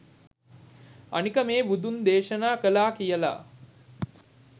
අනික මේ බුදුන් දේශනා කළා කියල